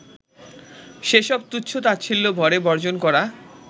সেসব তুচ্ছ-তাচ্ছিল্যভরে বর্জন করা